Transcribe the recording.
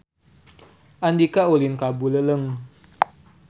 Andika ulin ka Buleleng